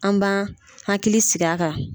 An b'an hakili sigi a kan.